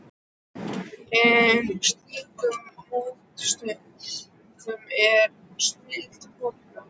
En í slíkum mótsögnum er snilldin fólgin.